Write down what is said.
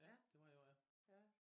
Ja det var i år ja